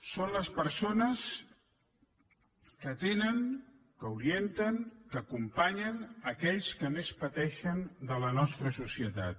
són les persones que tenen que orienten que acompanyen aquells que més pateixen de la nostra societat